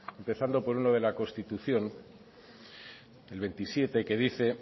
empezando por uno de la constitución el veintisiete que dice